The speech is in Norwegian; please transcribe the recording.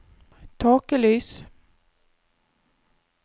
tåkelys